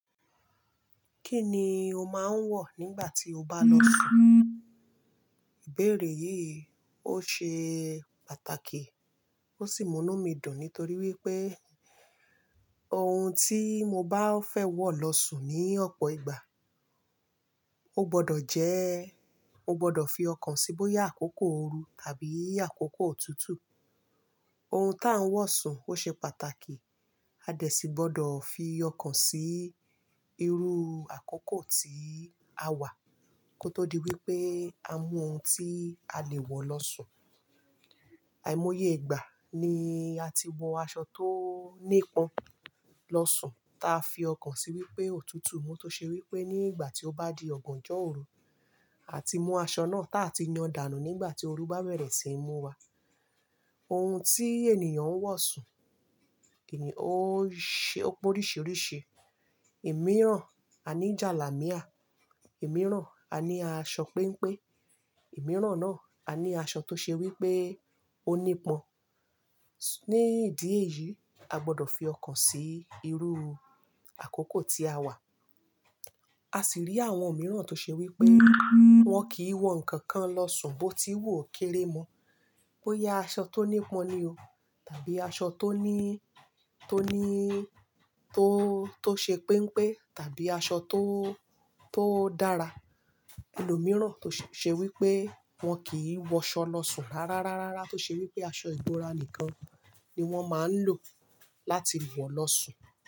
Kí ni o máa ń wọ̀ nígbà tí o bá lọ sùn? Ìbéèrè yìí ó ṣe pàtàkì ó sì múnú mi dùn nítorí wípé ohun tí mo bá fẹ́ wọ̀ lọ sùn ní ọ̀pọ̀ ìgbà, ó gbọdọ̀ jẹ́, ó gbọdọ̀ fi ọkàn síi bóyá àkókò ooru tàbí àkókò òtútù. Ohun tá ń wọ̀ sùn ó ṣe pàtàkì, a dẹ̀ sì gbọdọ̀ fi ọkàn sí irú àkókò tí a wà kó tó di wípé a mún ohun tí a lè wọ̀ lọ sùn. Àìmoye ìgbà ni a ti wọ aṣọ tó nípọn lọ sùn, ta fi ọkàn sí wípé òtútù mú tó ṣe wípé ní ìgbà tí ó bá di ọ̀gànjọ́ òru, a ti mú aṣọ náà táa ti yan dànù nígbà tí ooru bá bẹ̀rẹ̀ sí í mú wa. Ohun tí ènìyàn ń wọ̀ sùn kìní ó ṣe ó pé oríṣiríṣi. Èmí rán a ní jàlámíà, èmí rán a ní aṣọ pẹ́npẹ́, èmí rán náà a ní aṣọ tó ṣe wípé ó nípọn. Ni ìdí èyí a gbọdọ̀ fi ọkàn sí irú àkókò tí a wà. A sì rí àwọn mìíràn tó ṣe wípé wọ́n kì í wọ ǹkan kan lọ sùn bó ti wù ó kéré mọ́, bóyá aṣọ tó nípọn ni o tàbí aṣọ tó ní, tó ní, tó, tó ṣe pẹ́npẹ́ tàbí aṣọ tó, tó dára. Ẹ̀ni mìíràn tó ṣe wípé wọn kì í wọ aṣọ lọ sùn rárá, rárá, rárá tó ṣe wípé aṣọ ìbora nìkan ni wọ́n máa ń lò láti wọ̀ lọ sùn.